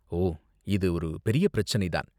ஓ, இது ஒரு பெரிய பிரச்சனை தான்.